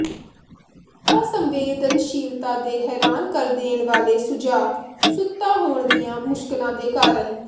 ਅਸੰਵੇਦਨਸ਼ੀਲਤਾ ਦੇ ਹੈਰਾਨ ਕਰ ਦੇਣ ਵਾਲੇ ਸੁਝਾਅ ਸੁੱਤਾ ਹੋਣ ਦੀਆਂ ਮੁਸ਼ਕਲਾਂ ਦੇ ਕਾਰਨ